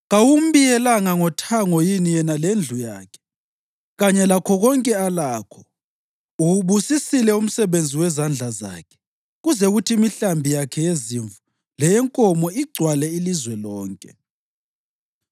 Kawumbiyelanga ngothango yini yena lendlu yakhe, kanye lakho konke alakho? Uwubusisile umsebenzi wezandla zakhe kuze kuthi imihlambi yakhe yezimvu leyenkomo igcwale ilizwe lonke.